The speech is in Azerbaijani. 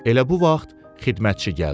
Elə bu vaxt xidmətçi gəldi.